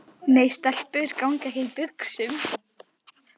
Nei, stelpur ganga ekki í buxum.